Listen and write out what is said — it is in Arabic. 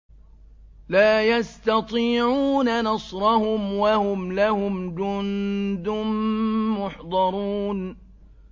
لَا يَسْتَطِيعُونَ نَصْرَهُمْ وَهُمْ لَهُمْ جُندٌ مُّحْضَرُونَ